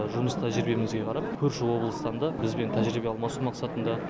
жұмыс тәжірибемізге қарап көрші облыстан да бізбен тәжірибе алмасу мақсатында